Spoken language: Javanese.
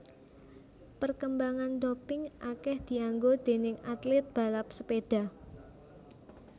Perkembangan doping akeh dianggo déning atlet balap sepeda